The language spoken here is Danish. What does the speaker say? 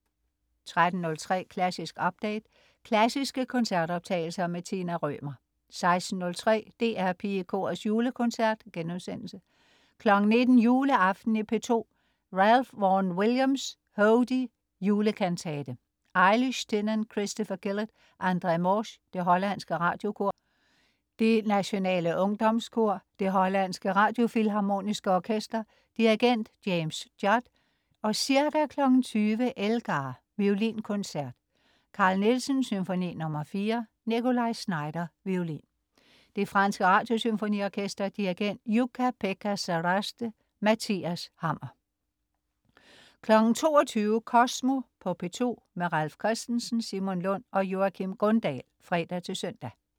13.03 Klassisk update. Klassiske koncertoptagelser. Tina Rømer 16.03 DR PigeKorets Julekoncert* 19.00 Juleaften i P2. Ralph Vaughan Williams: Hodie, julekantate. Ailish Tynan, Christopher Gillet, André Morsch. Det hollandske Radiokor. Det nationale Ungdomskor. Det hollandske Radiofilharmoniske Orkester. Dirigent: James Judd. Ca. 20.00 Elgar: Violinkoncert. Carl Nielsen: Symfoni nr. 4. Nikolaj Znaider, violin. Det franske Radiosymfoniorkester. Dirigent: Jukka-Pekka Saraste. Mathias Hammer 22.00 Kosmo på P2. Ralf Christensen, Simon Lund og Joakim Grundahl (fre-søn)